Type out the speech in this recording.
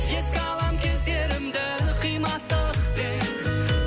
еске алам кездерімді қимастықпен